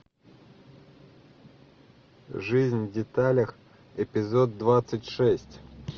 жизнь в деталях эпизод двадцать шесть